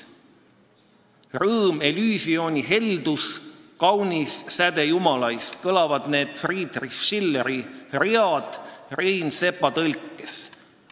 "Rõõm, Elysioni heldus, kaunis säde jumalaist" – nii kõlavad need Friedrich Schilleri read Rein Sepa tõlkes.